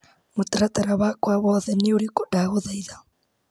Mũtaratara wakwa wothe nĩ ũrĩkũ ndagũthaitha .